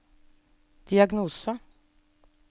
diagnose